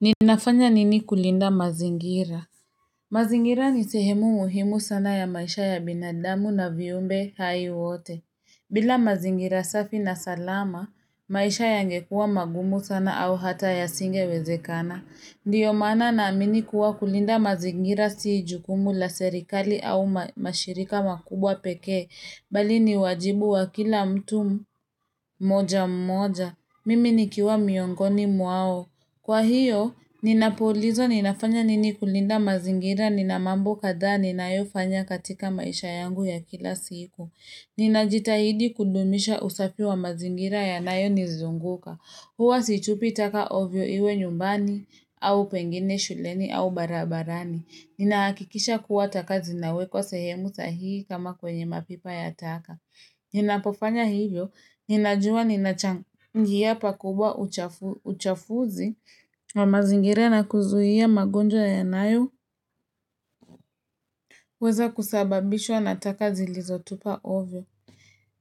Ninafanya nini kulinda mazingira mazingira nisehemu muhimu sana ya maisha ya binadamu na viumbe hai wote bila mazingira safi na salama, maisha yangekuwa magumu sana au hata ya singe wezekana Ndiyo maana na amini kuwa kulinda mazingira siijukumu la serikali au mashirika makubwa pekee, bali ni wajibu wa kila mtu mmoja mmoja Mimi nikiwa miongoni mwao Kwa hiyo, ninapoulizwa ninafanya nini kulinda mazingira, nina mambo kadhaa, ninayo fanya katika maisha yangu ya kila siku. Ninajitahidi kudumisha usafi wa mazingira ya nayo nizunguka. Huwa situpi taka ovyo iwe nyumbani, au pengine shuleni, au barabarani. Ninaakikisha kuwataka zinawe kwa sehemu sahihi kama kwenye mapipa ya taka. Ninapofanya hivyo, ninajua ninachangia pakubwa uchafuzi wa mazingira na kuzuhia magonjwa yanayoweza kusababishwa na taka zilizotupa ovyo.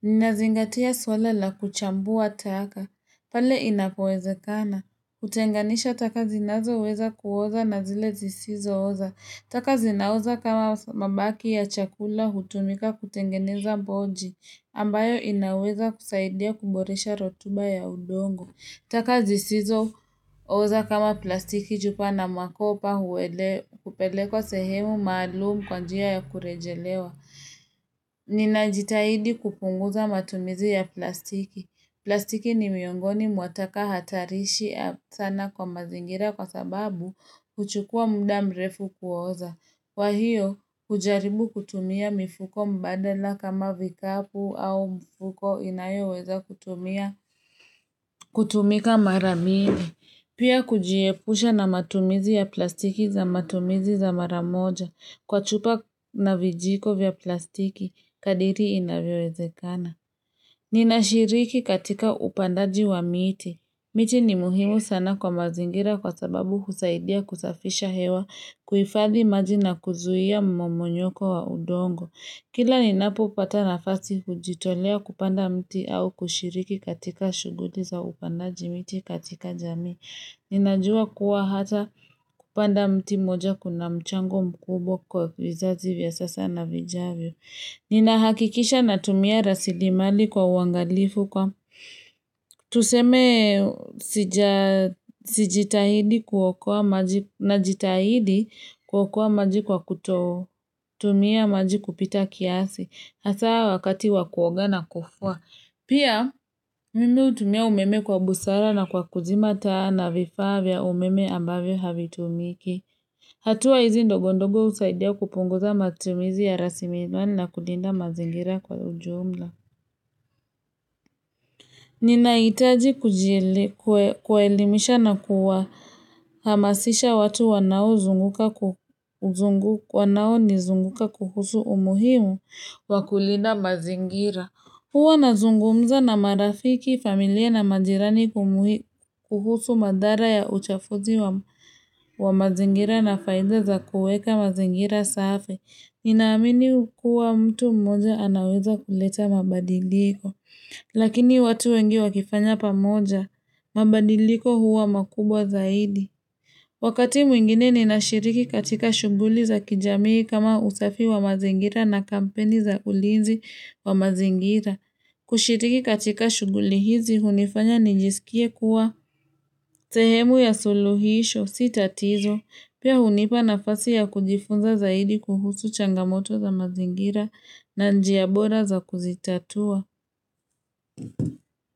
Ninazingatia suala la kuchambua taka, pale inapowezekana. Kutenganisha taka zinazoweza kuoza na zile zisizo oza. Taka zinaoza kama mabaki ya chakula hutumika kutengeneza boji ambayo inaweza kusaidia kuboresha rotuba ya udongo. Taka zisizo ooza kama plastiki chupa na makopa hupelekwa sehemu maalumu kwa njia ya kurejelewa. Ninajitahidi kupunguza matumizi ya plastiki. Plastiki ni miongoni mwa taka hatarishi sana kwa mazingira kwa sababu huchukua muda mrefu kuoza. Kwa hiyo, hujaribu kutumia mifuko mbadala kama vikapu au mfuko inayo weza kutumia. Kutumika mara mingi, pia kujiepusha na matumizi ya plastiki za matumizi za maramoja. Kwa chupa na vijiko vya plastiki, kadiri inavyowezekana. Ninashiriki katika upandaji wa miti. Miti ni muhimu sana kwa mazingira kwa sababu husaidia kusafisha hewa kuifadhi maji na kuzuhia mmomonyoko wa udongo. Kila ni napo upata nafasi hujitolea kupanda mti au kushiriki katika shuguli za upandaji miti katika jamii. Ninajua kuwa hata kupanda mti moja kuna mchango mkubwa kwa vizazi vya sasa na vijavyo. Ninahakikisha natumia rasili mali kwa uwangalifu kwa. Tuseme sijitahidi kuokoa maji na jitahidi kuokoa maji kwa kutumia maji kupita kiasi Asa wakati wakuoga na kufua Pia mimi utumia umeme kwa busara na kwa kuzima taa na vifaa vya umeme ambavyo havitumiki hatua hizi ndogondogo usaidia kupunguza matumizi ya rasimizwani na kulinda mazingira kwa ujumla Nina itaji kujielimisha na kuwa hamasisha watu wanao nizunguka kuhusu umuhimu wakulinda mazingira. Huwa na zungumza na marafiki familia na majirani kuhusu madhara ya uchafuzi wa mazingira na faida za kueka mazingira safi. Ninaamini kuwa mtu mmoja anaweza kuleta mabadiliko. Lakini watu wengi wakifanya pamoja, mabadiliko huwa makubwa zaidi. Wakati mwingine ni nashiriki katika shuguli za kijamii kama usafi wa mazingira na kampeni za ulizi wa mazingira. Kushiriki katika shuguli hizi, hunifanya nijisikie kuwa sehemu ya suluhisho sita tizo. Pia hunipa nafasi ya kujifunza zaidi kuhusu changamoto za mazingira na njia bora za kuzitatua.